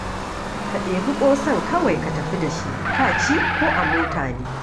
Ka ɗebi ƙosan kawai ka tafi da shi, ka ci ko a mota ne